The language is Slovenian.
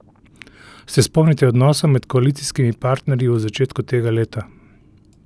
Se spomnite odnosov med koalicijskimi partnerji v začetku tega leta?